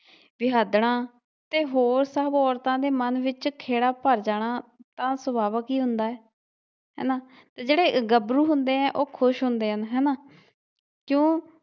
ਵਿਆਹਾਦੜਾ ਤੇ ਹੋਰ ਸਭ ਔਰਤਾਂ ਦੇ ਮਨ ਵਿਚ ਖੇੜਾ ਭਰ ਜਾਣਾ ਤਾ ਸੁਭਾਵਿਕ ਈ ਹੁੰਦਾ ਏ ਹੇਨਾ ਜਿਹੜੇ ਗੱਭਰੂ ਹੁੰਦੇ ਏ ਉਹ ਖੁਸ਼ ਹੁੰਦੇ ਹਨ ਹੇਨਾ। ਕਿਉਂ